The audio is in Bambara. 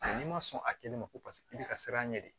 N'i ma sɔn a kɛlen ma ko i bɛ ka siran a ɲɛ de